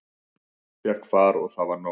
Fékk far og það var nóg.